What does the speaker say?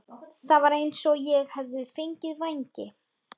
Það var eins og ég hefði fengið vængi.